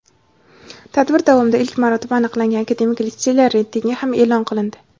Tadbir davomida ilk marotaba aniqlangan akademik litseylar reytingi ham eʼlon qilindi.